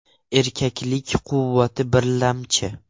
Erkaklik quvvati birlamchi!